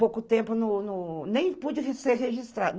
Pouco tempo no, no... Nem pude ser registrada.